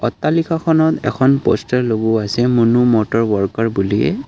অট্টালিকাখনত এখন প'ষ্টাৰ লগোৱা আছে মনু মটৰ ৱৰ্কাৰ বুলিয়ে।